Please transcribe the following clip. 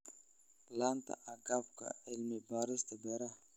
La'aanta agabka cilmi-baarista beeraha.